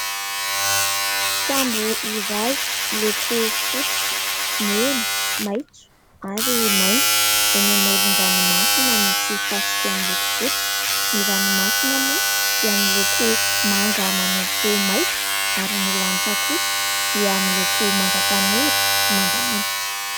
Sambo iray miloko fotsy, mena, maitso ary mainty, eny amoron-dranomasina misy fasika miloko fotsy. Ny ranomasina moa dia miloko manga manopy maitso, ary ny lanitra kosa dia miloko manga tanora sy manga antitra.